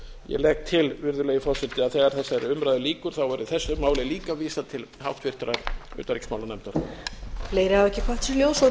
ég legg til virðulegi forseti að þegar þessari umræðu lýkur verði þessu máli líka vísað til háttvirtrar utanríkismálanefndar